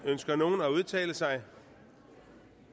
ønsker nogen at udtale sig